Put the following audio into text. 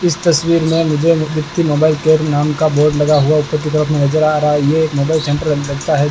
इस तस्वीर में मुझे अनुकृति मोबाइल केयर नाम का बोर्ड लगा हुआ ऊपर की तरफ नजर आ रहा है ये एक मोबाइल सेंटर लगता है।